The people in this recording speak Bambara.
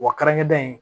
Wa kɛrɛnkɛrɛn in